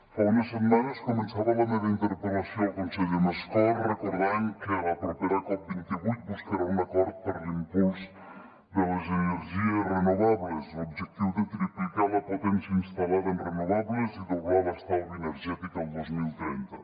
fa unes setmanes començava la meva interpel·lació al conseller mascort recordant que la propera cop28 buscarà un acord per a l’impuls de les energies renovables l’objectiu de triplicar la potència instal·lada en renovables i doblar l’estalvi energètic el dos mil trenta